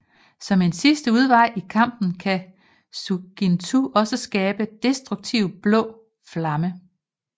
Som en sidste udvej i kampen kan Suigintou også skabe destruktive blå flammer